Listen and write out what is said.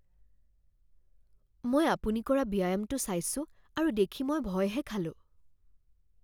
মই আপুনি কৰা ব্যায়ামটো চাইছোঁ আৰু দেখি মই ভয়হে খালোঁ